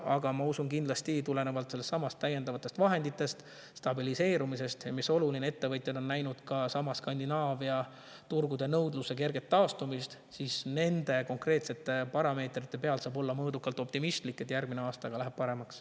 Aga ma usun, et tulenevalt täiendavatest vahenditest, stabiliseerumisest, ja mis oluline, sellest, et ettevõtjad on näinud Skandinaavia turgudel nõudluse kerget taastumist – nende konkreetsete parameetrite põhjal saab olla mõõdukalt optimistlik, et järgmisel aastal läheb paremaks.